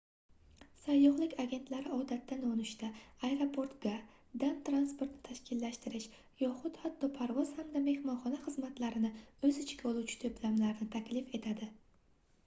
sayyohlik agentlari odatda nonushta aeroportga/dan transportni tashkillashtirish yoxud hatto parvoz hamda mehmonxona xizmatlarini o'z ichiga oluvchi to'plamlarni taklif etadi